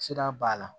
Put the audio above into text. Sira b'a la